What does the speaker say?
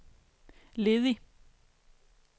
ledig